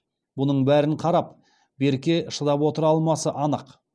бұның бәрін қарап берке шыдап отыра алмасы анық